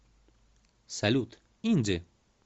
салют инди